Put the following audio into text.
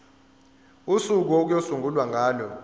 usuku okuyosungulwa ngalo